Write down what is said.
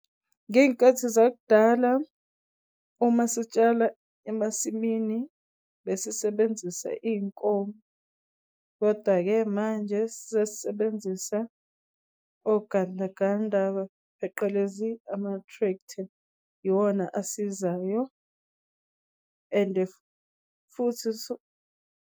Ngey'nkathi zakudala uma sitshala emasimini besisebenzisa iy'nkomo. Kodwa-ke manje sesisebenzisa ogandaganda pheqelezi ama-tractor iwona asizayo ende futhi .